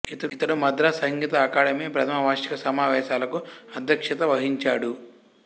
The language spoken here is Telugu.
ఇతడు మద్రాసు సంగీత అకాడమీ ప్రథమ వార్షిక సమావేశాలకు అధ్యక్షత వహించాడు